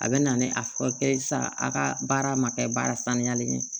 A bɛ na ni a fɔ kɛ sa a ka baara ma kɛ baara saniyalen ye